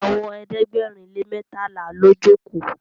Àwọn ẹ̀ẹ́dẹ̀gbẹ̀rin lè mẹtala ló joko.